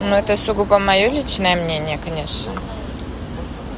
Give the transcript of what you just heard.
но это сугубо моё личное мнение конечно